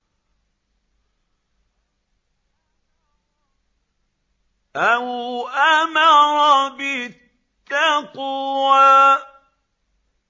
أَوْ أَمَرَ بِالتَّقْوَىٰ